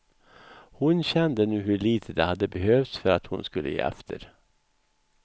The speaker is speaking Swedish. Hon kände nu hur litet det hade behövts för att hon skulle ge efter.